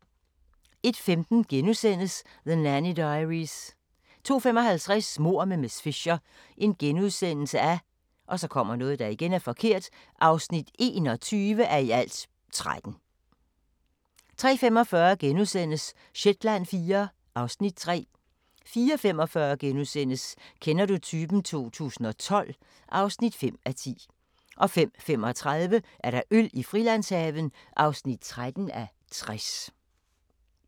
01:15: The Nanny Diaries * 02:55: Mord med miss Fisher (21:13)* 03:45: Shetland IV (Afs. 3)* 04:45: Kender du typen? 2012 (5:10)* 05:35: Øl i Frilandshaven (13:60)